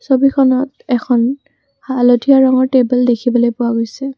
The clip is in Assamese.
ছবিখনত এখন হালধীয়া ৰঙৰ টেবুল দেখিবলৈ পোৱা গৈছে।